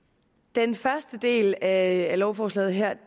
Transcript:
den første del af lovforslaget her